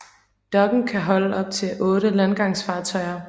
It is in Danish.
Dokken kan holde op til 8 landgangsfartøjer